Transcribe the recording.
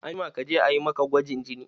Anjima kaje a yi maka gwajin jini!